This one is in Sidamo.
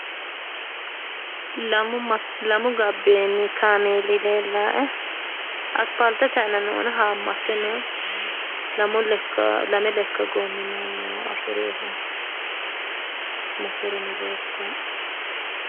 Lamu gabbeeni kaameeli leellaae aspaaltete aanano haammatte noo lame lekka goommino afireehu no motoreno leeltaae.